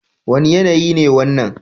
Wane yanayi ne wannan?